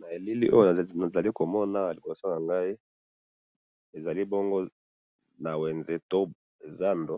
na elili oyo nazali komona awa liboso nangayoi awa ezali bongo na wenze to zandu